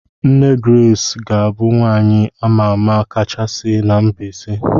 Nne Grace ga-abụ nwaanyị a ma ama kachasị na Mbaise.